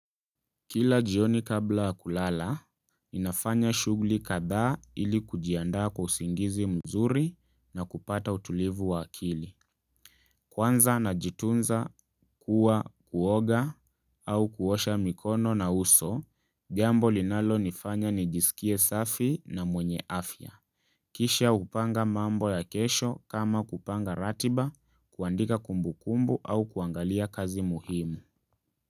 Kila jioni kabla kulala, ninafanya shughuli kadhaa ili kujiandaa kwa usingizi mzuri na kupata utulivu wa akili. Kwanza najitunza kuwa kuoga au kuosha mikono na uso, jambo linalonifanya nijisikie safi na mwenye afya. Kisha hupanga mambo ya kesho kama kupanga ratiba kuandika kumbu kumbu au kuangalia kazi muhimu.